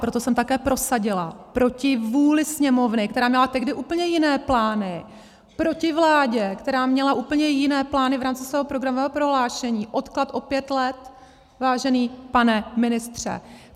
Proto jsem také prosadila proti vůli Sněmovny, která měla tehdy úplně jiné plány, proti vládě, která měla úplně jiné plány v rámci svého programového prohlášení, odklad o pět let, vážený pane ministře.